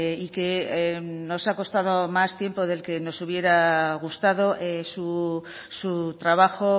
y que nos ha costado más tiempo del que nos hubiera gustado su trabajo